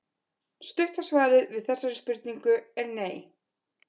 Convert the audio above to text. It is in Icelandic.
Stutta svarið við þessari spurningu er nei.